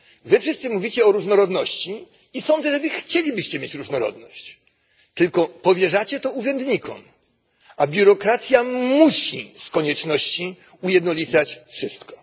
Wy wszyscy mówicie o różnorodności i sądzę, że Wy chcielibyście mieć różnorodność, tylko powierzacie to urzędnikom, a biurokracja musi z konieczności ujednolicać wszystko.